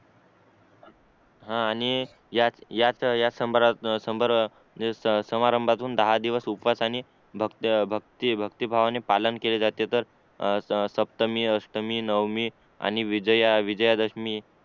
हा आणि या या संभारात अह समारंभातून दहा दिवस उपास आणि भक्त भक्त भक्ती भाव ने पालन केले जाते तर अह सप्तमी अष्टमी नवमी आणि विजया विजयादशमी